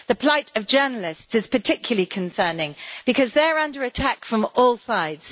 The plight of journalists is particularly concerning because they are under attack from all sides.